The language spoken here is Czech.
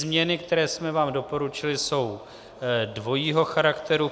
Změny, které jsme vám doporučili, jsou dvojího charakteru.